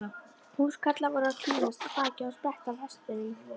Húskarlar voru að tínast af baki og spretta af hestum.